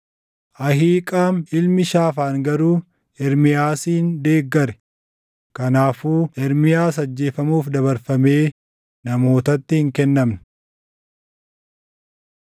Ahiiqaam ilmi Shaafaan garuu Ermiyaasin deeggare; kanaafuu Ermiyaas ajjeefamuuf dabarfamee namootatti hin kennamne.